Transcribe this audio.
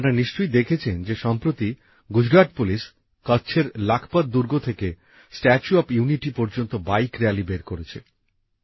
আপনারা নিশ্চয়ই দেখেছেন যে সম্প্রতি গুজরাট পুলিশ কচ্ছের লাখপত দুর্গ থেকে স্ট্যাচু অফ ইউনিটি পর্যন্ত বাইক র্যালি বের করেছে